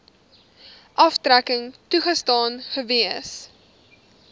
aftrekking toegestaan gewees